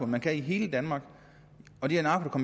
man kan i hele danmark og det er narko